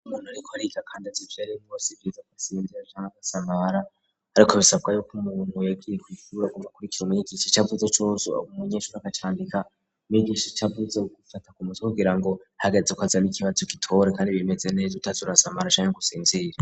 Umuntu riko rika, kandi az ituayeli ngos igiriza ko asinvira canke agasamabara, ariko bisabwa yuko nmumuntu yegiye kikura guva kuri kiromene igishi c'avuze cozuawa umunyenshuru agacandika migisha c'avuze gufata ku muto kugira ngo hagaze ko azaba ikibazo gitore, kandi bimeze nejo utazurasamara canke gusinzira.